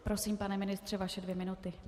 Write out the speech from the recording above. Prosím, pane ministře, vaše dvě minuty.